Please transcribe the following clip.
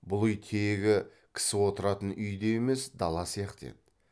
бұл үй тегі кісі отыратын үй де емес дала сияқты еді